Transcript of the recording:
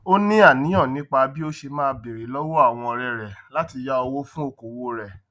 ó ní àníyàn nípa bí ó ṣe máa béèrè lọwọ àwọn ọrẹ rẹ láti yá owó fún okòwò rẹ